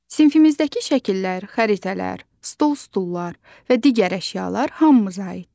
Sinifimizdəki şəkillər, xəritələr, stol-stullar və digər əşyalar hamımıza aiddir.